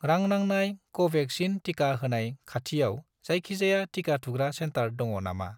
रां नांनाय कवेक्सिन टिका होनाय खाथियाव जायखिजाया टिका थुग्रा सेन्टार दङ नामा?